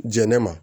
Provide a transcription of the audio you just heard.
Jɛnɛ ma